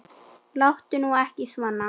Láttu nú ekki svona.